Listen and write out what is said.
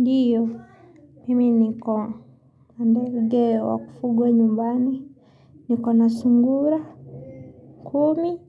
Ndiyo, mimi niko, na ndege wa kufugwa nyumbani, niko na sungura kumi,